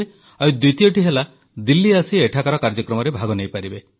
ଆଉ ଦ୍ୱିତୀୟଟି ହେଲା ଦିଲ୍ଲୀ ଆସି ଏଠାକାର କାର୍ଯ୍ୟକ୍ରମରେ ଭାଗ ନେଇପାରିବେ